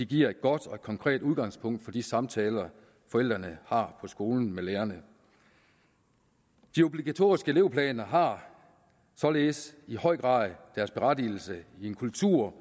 giver et godt og konkret udgangspunkt for de samtaler forældrene har på skolen med lærerne de obligatoriske elevplaner har således i høj grad deres berettigelse i en kultur